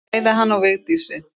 Bæði hann og Vigdísi.